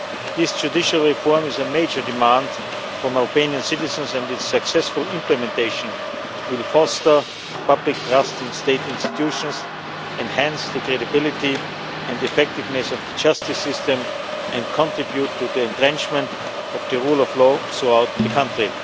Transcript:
This judicial reform is a major demand from Albanian citizens and its successful implementation will foster public trust in state institutions, enhance the credibility and effectiveness of the justice system and contribute to the entrenchment of the rule of law throughout the country.